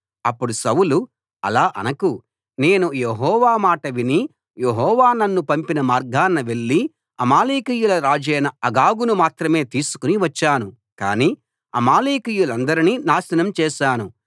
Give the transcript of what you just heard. అప్పుడు సౌలు అలా అనకు నేను యెహోవా మాట విని యెహోవా నన్ను పంపిన మార్గాన వెళ్ళి అమాలేకీయుల రాజైన అగగును మాత్రమే తీసుకు వచ్చాను కాని అమాలేకీయులందరినీ నాశనం చేశాను